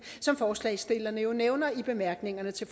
som forslagsstillerne jo nævner i bemærkningerne til